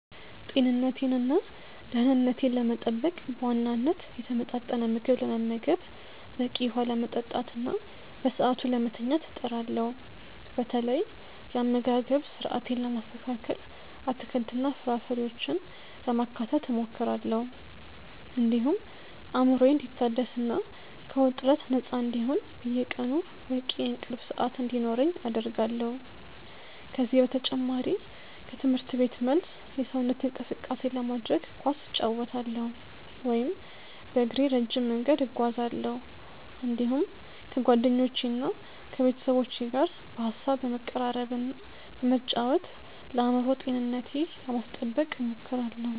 ጤንነቴንና ደኅንነቴን ለመጠበቅ በዋናነት የተመጣጠነ ምግብ ለመመገብ፣ በቂ ውኃ ለመጠጣትና በሰዓቱ ለመተኛት እጥራለሁ። በተለይ የአመጋገብ ስርአቴን ለማስተካከል አትክልትና ፍራፍሬዎችን ለማካተት እሞክራለሁ፤ እንዲሁም አእምሮዬ እንዲታደስና ከውጥረት ነፃ እንዲሆን በየቀኑ በቂ የእንቅልፍ ሰዓት እንዲኖረኝ አደርጋለሁ። ከዚህ በተጨማሪ ከትምህርት ቤት መልስ የሰውነት እንቅስቃሴ ለማድረግ ኳስ እጫወታለሁ ወይም በእግሬ ረጅም መንገድ እጓዛለሁ፤ እንዲሁም ከጓደኞቼና ከቤተሰቦቼ ጋር በሐሳብ በመቀራረብና በመጫወት ለአእምሮ ጤንነቴ ለማስጠበቅ እሞክራለሁ።